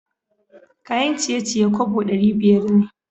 Kayan ciye-ciye kobo dari biyar ne.